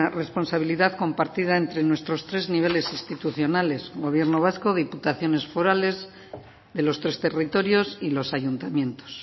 responsabilidad compartida entre nuestros tres niveles institucionales gobierno vasco diputaciones forales de los tres territorios y los ayuntamientos